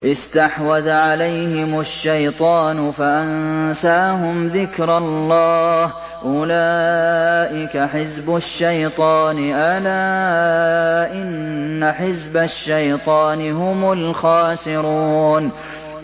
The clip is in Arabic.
اسْتَحْوَذَ عَلَيْهِمُ الشَّيْطَانُ فَأَنسَاهُمْ ذِكْرَ اللَّهِ ۚ أُولَٰئِكَ حِزْبُ الشَّيْطَانِ ۚ أَلَا إِنَّ حِزْبَ الشَّيْطَانِ هُمُ الْخَاسِرُونَ